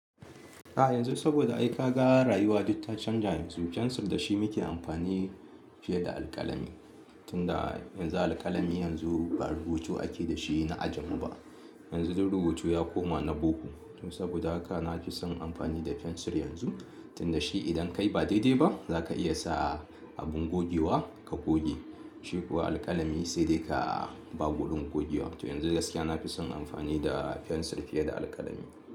A yanzu saboda ai kaga rayuwa duk ta canja yanzu, fensir da shi muke amfani fiye da alkalami, tunda yanzu alkalami yanzu ba rubutu ake da shi na ajamu ba. Yanzu duk rubutu ya koma na boko. To saboda haka na fi son amfani da fensir yanzu, tunda shi idan kai ba daidai ba zaka iya sa a abun gogewa ka goge. Shi kuwa alkalami sai dai ka ba gulun gogewa. To yanzu gaskiya na fi son amfani da fensir fiye da alkalami.